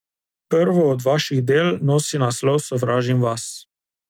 Prvo od vaših del nosi naslov Sovražim vas.